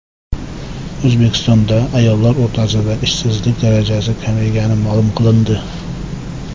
O‘zbekistonda ayollar o‘rtasida ishsizlik darajasi kamaygani ma’lum qilindi.